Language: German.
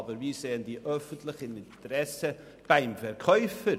Aber wir sehen das öffentliche Interesse beim Verkäufer.